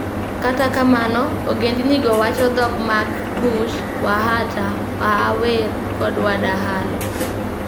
Kata kamano, ogendinigo wacho dhok mag Kush: Waata, Waawer, kod Wadahalo.